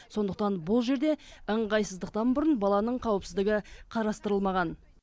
сондықтан бұл жерде ыңғайсыздықтан бұрын баланың қауіпсіздігі қарастырылмаған